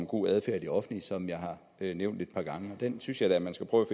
god adfærd i det offentlige som jeg har nævnt et par gange og den synes jeg da man skulle prøve